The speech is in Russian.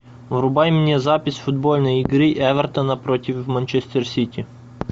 врубай мне запись футбольной игры эвертона против манчестер сити